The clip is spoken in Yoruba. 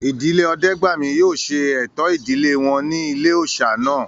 Ìdílé Ọdẹ́gbàmí yóò ṣe ẹ̀tọ́ ìdílé wọn ní ilé-òòsà náà